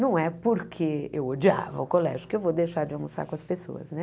Não é porque eu odiava o colégio que eu vou deixar de almoçar com as pessoas, né?